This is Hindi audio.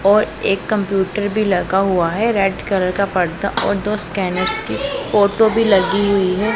और एक कंप्यूटर भी लगा हुआ है रेड कलर का पर्दा और दो स्कैनर्स की फोटो भी लगी हुई है।